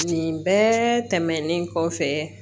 Nin bɛɛ tɛmɛnen kɔfɛ